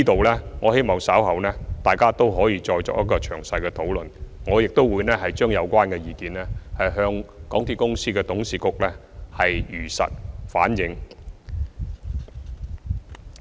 就此，我希望大家稍後可再作詳細討論，而我亦會將有關意見向港鐵公司的董事局如實反映。